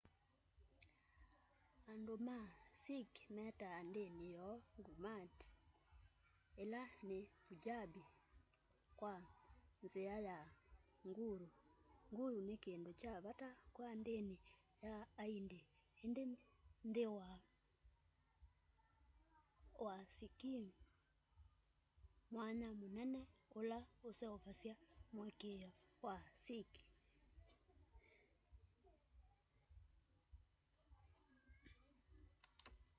andu ma sikh metaa ndini yoo gurmat ila ni punjabi kwa nzia ya guru”.guru kindu kya vata kwa ndini sya aindi indi nthi wa sikhism mwanya munene ula useovasya muikiio wa sikh